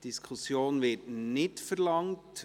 – Eine Diskussion wird nicht verlangt.